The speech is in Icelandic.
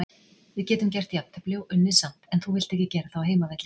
Við getum gert jafntefli og unnið samt en þú vilt ekki gera það á heimavelli.